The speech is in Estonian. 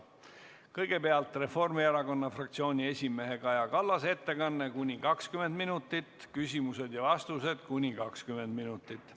Kõigepealt on Reformierakonna fraktsiooni esimehe Kaja Kallase ettekanne kuni 20 minutit ning küsimused ja vastused kuni 20 minutit.